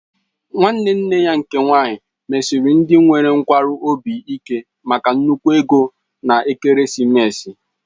Nwanne nne ya nke nwaanyị mesiri ndị nwere nkwarụ obi ike maka nnukwu ego na ekeresimesi